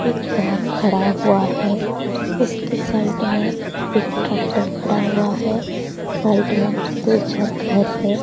एक कार खड़ा हुआ है उसके साइड में एक ट्रैक्टर खड़ा हुआ है साइड में दो चार घर है।